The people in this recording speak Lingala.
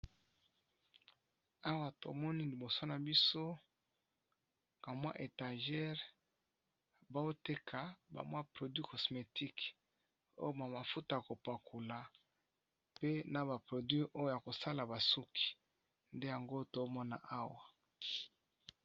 Awa tomoni liboso na biso kamwa étagere baoteka bamwa produi cosmetique oyo mamafuta kopakula pe na baproduit oyo ya kosala basuki nde yango tomona awa.